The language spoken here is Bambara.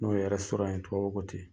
N'o ye ye tubabuw ko ten.